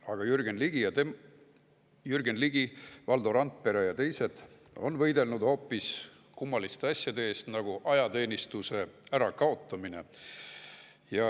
Aga Jürgen Ligi, Valdo Randpere ja teised on võidelnud hoopis kummaliste asjade eest, nagu ajateenistuse ärakaotamine.